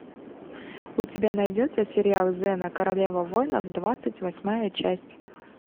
у тебя найдется сериал зена королева воинов двадцать восьмая часть